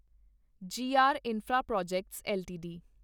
ਜੀ R infraprojects LTD